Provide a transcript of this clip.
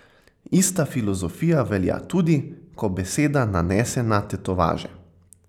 Ista filozofija velja tudi, ko beseda nanese na tetovaže.